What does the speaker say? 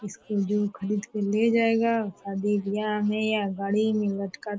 इसको जो खरीद के ले जाएगा शादी ब्याह में या गाड़ी में लटका --